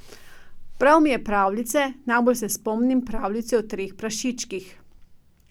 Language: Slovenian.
Bral mi je pravljice, najbolj se spomnim pravljice o treh prašičkih.